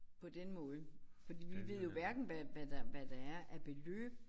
På den måde fordi vi ved jo hverken hvad hvad der hvad der er af beløb